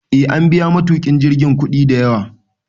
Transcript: E, an biya matukin jirgin kudi da yawa